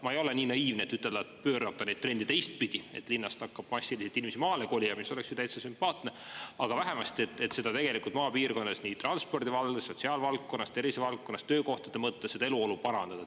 Ma ei ole nii naiivne, et ütelda, et pöörata neid trende teistpidi, et linnast hakkab massiliselt inimesi maale kolima, mis oleks ju täitsa sümpaatne, aga vähemasti, et seda tegelikult maapiirkondades, nii transpordivaldkonnas, sotsiaalvaldkonnas, tervisevaldkonnas, töökohtade mõttes seda elu-olu parandada.